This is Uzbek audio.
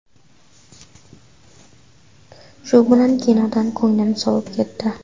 Shu bilan kinodan ko‘nglim sovib ketdi.